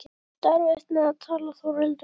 Þú átt erfitt með að tala Þórhildur.